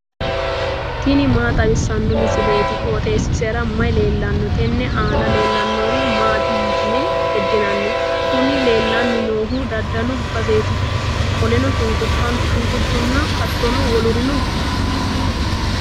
tini maa xawissanno misileeti? qooxeessisera may leellanno? tenne aana leellannori maati yitine heddinanni? kuni leellanni noohu daddalu baseeti, qoleno shunkurtahonna hattono wolurino no.